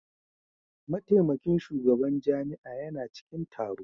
Mataimakin shugaban jami'a yana cikin taro.